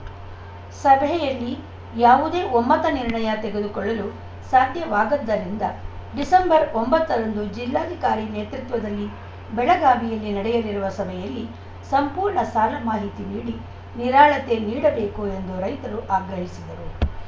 ಸಭೆಯಲ್ಲಿ ಯಾವುದೇ ಒಮ್ಮತ ನಿರ್ಣಯ ತೆಗೆದುಕೊಳ್ಳಲು ಸಾಧ್ಯವಾಗದ್ದರಿಂದ ಡಿಸೆಂಬರ್ ಒಂಬತ್ತರಂದು ಜಿಲ್ಲಾಧಿಕಾರಿ ನೇತೃತ್ವದಲ್ಲಿ ಬೆಳಗಾವಿಯಲ್ಲಿ ನಡೆಯಲಿರುವ ಸಭೆಯಲ್ಲಿ ಸಂಪೂರ್ಣ ಸಾಲ ಮಾಹಿತಿ ನೀಡಿ ನಿರಾಳತೆ ನೀಡಬೇಕು ಎಂದು ರೈತರು ಆಗ್ರಹಿಸಿದರು